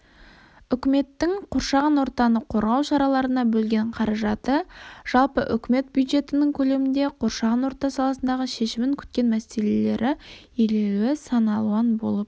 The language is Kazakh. үкіметтің қоршаған ортаны қорғау шараларына бөлген қаражаты жалпы үкімет бюджетінің көлемінде қоршаған орта саласындағы шешімін күткен мәселелері елеулі сан алуан болып